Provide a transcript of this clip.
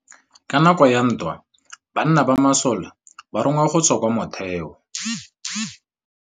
Ka nakô ya dintwa banna ba masole ba rongwa go tswa kwa mothêô.